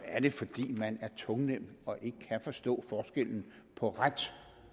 er det fordi man er tungnem og ikke kan forstå forskellen på ret